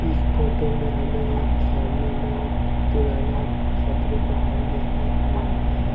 इस फोटो में हमें एक सामने में पुराना तपड़े का घर देखने को मिल रहा है।